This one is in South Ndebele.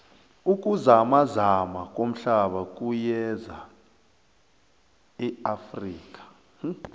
ukuzamazama komhlaba kuyeza neafrika